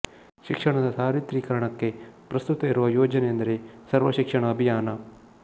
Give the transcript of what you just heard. ಶಿಕ್ಷಣದ ಸಾರ್ವತ್ರಿಕರಣಕ್ಕೆ ಪ್ರಸ್ತುತ ಇರುವ ಯೋಜನೆ ಎಂದರೆ ಸರ್ವ ಶಿಕ್ಷಣ ಅಭಿಯಾನ